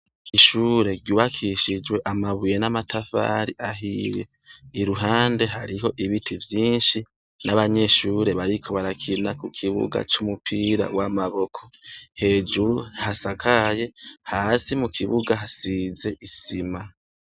Ishure ryubakishijwe amabuye n'amatafari ahiye, iruhande hariho ibiti vyinshi, n'abanyeshure bariko barakina kukibugabcnumupira w'amaboko, hejuru hasakaye, hasi mukibuga hasize isima.